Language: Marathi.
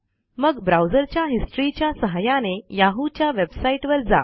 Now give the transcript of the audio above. मग ब्राऊजरच्या हिस्टरी च्या सहाय्याने याहू च्या वेबसाईटवर जा